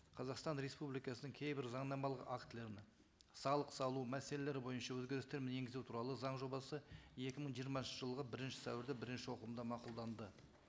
қазақстан республикасының кейбір заңнамалық актілеріне салық салу мәселелері бойынша өзгерістерін енгізу туралы заң жобасы екі мың жиырмасыншы жылғы бірінші сәуірде бірінші оқылымда мақұлданды